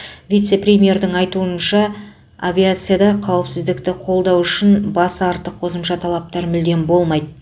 вице премьердің айтуынша авиацияда қауіпсіздікті қолдау үшін басы артық қосымша талаптар мүлдем болмайды